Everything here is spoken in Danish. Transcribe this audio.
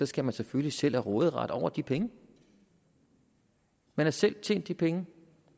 skal man selvfølgelig selv have råderet over de penge man har selv tjent de penge